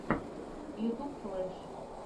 ютьюб флэш